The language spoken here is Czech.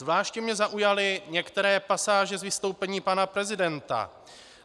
Zvláště mě zaujaly některé pasáže z vystoupení pana prezidenta.